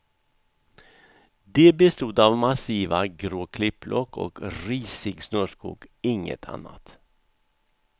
De bestod av massiva grå klippblock och risig snårskog, inget annat.